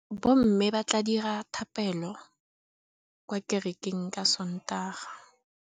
Bommê ba tla dira dithapêlô kwa kerekeng ka Sontaga.